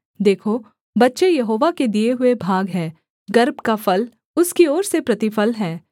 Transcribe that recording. देखो बच्चे यहोवा के दिए हुए भाग हैं गर्भ का फल उसकी ओर से प्रतिफल है